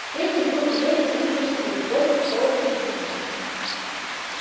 лэннинг был гневен и нетерпелив богерт холодно язвителен